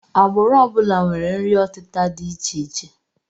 Agbụrụ ọ bụla nwere nri ọtịta dị icheiche